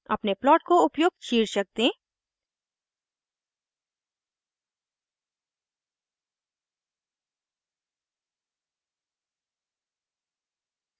अपने प्लॉट को उपयुक्त शीर्षक दें